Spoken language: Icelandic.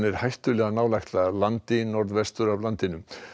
hættulega nálægt landi norðvestur af landinu